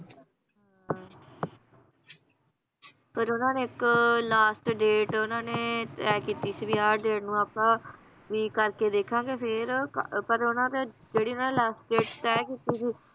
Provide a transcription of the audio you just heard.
ਪਰ ਉਹਨਾਂ ਨੇ ਇੱਕ last date ਉਹਨਾਂ ਨੇ ਤੈਅ ਕੀਤੀ ਸੀ, ਵੀ ਆਹ date ਨੂੰ ਆਪਾਂ, ਵੀ ਕਰਕੇ ਦੇਖਾਂਗੇ ਫੇਰ ਪ~ ਪਰ ਉਹਨਾਂ ਨੇ ਜਿਹੜੀ ਨ last date ਤੈਅ ਕੀਤੀ ਸੀ,